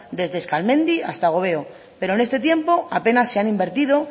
desde eskalmendi hasta gobeo pero en este tiempo apenas se han invertido